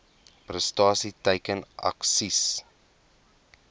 prestasie teiken aksies